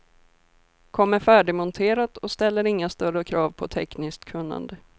Kommer färdigmonterat och ställer inga större krav på tekniskt kunnande.